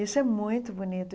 Isso é muito bonito.